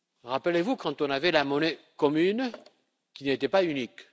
Rappelez vous, quand on avait la monnaie commune, elle n'était pas unique.